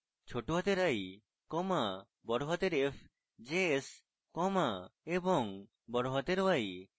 lowercase l comma capital f js comma এবং capital y